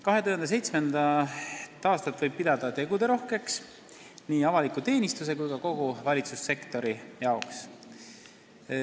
2017. aastat võib pidada teguderohkeks nii avalikus teenistuses kui ka kogu valitsussektoris.